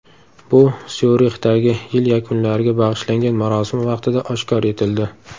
Bu Syurixdagi yil yakunlariga bag‘ishlangan marosim vaqtida oshkor etildi.